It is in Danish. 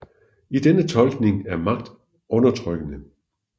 I denne tolkning er magt undertrykkende